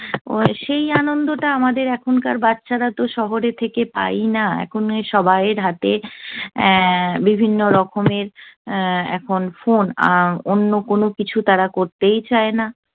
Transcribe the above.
সেই আনন্দটা আমাদের এখনকার বাচ্চারা তো শহরে থেকে পায় ই না। এখনের সবাই এর হাতে এর বিভিন্ন রকমের এখন phone । আহ অন্য কোন কিছু তারা করতেই চায় না।